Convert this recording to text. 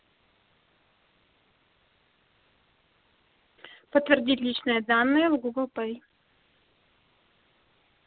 подтвердить личные данные в гугл пей